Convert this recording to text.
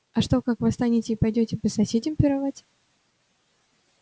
а что как восстанете и пойдёте по соседям пировать